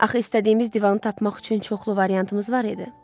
Axı istədiyimiz divanı tapmaq üçün çoxlu variantımız var idi.